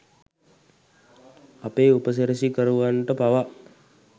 අපේ උපසිරැසිකරුවන්ට පවා